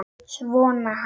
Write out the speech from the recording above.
Sonur hans!